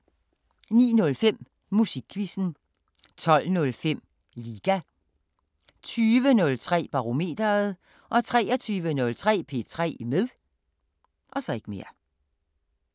09:05: Musikquizzen 12:05: Liga 20:03: Barometeret 23:03: P3 med